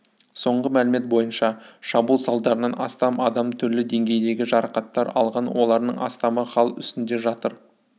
соңғы мәлімет бойынша шабуыл салдарынан астам адам түрлі деңгейдегі жарақаттар алған олардың астамы хал үстінде жатыр